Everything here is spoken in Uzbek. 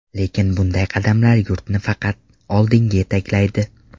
Lekin bunday qadamlar yurtni faqat oldinga yetaklaydi.